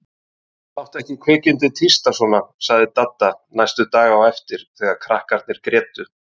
Láttu ekki kvikindið tísta svona sagði Dadda næstu daga á eftir þegar krakkarnir grétu.